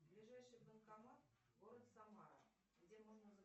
ближайший банкомат город самара где можно